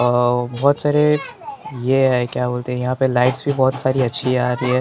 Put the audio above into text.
अ औ बहुत सारे यह है क्या बोलते हैं यहाँ पे लाइट्स भी बहुत सारी अच्छी आ रही है ।